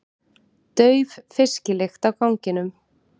Dauf fisklykt á ganginum.